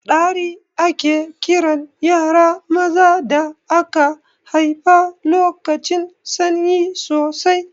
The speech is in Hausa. Ɗari ake kiran yara maza da aka haifa lokacin sanyi sosai